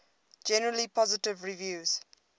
generally positive reviews